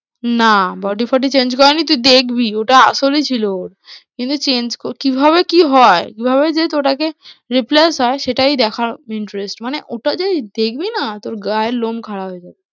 না body ফডি change করেনি, তুই দেখবি ওটা আসলই ছিল ওর, কিন্তু change কিভাবে কি হয়? কিভাবে just ওটাকে replace হয় সেটাই দেখার interest মানে ওটা যেই দেখবি না তোর গায়ের লোম খাঁড়া হয়ে যাবে।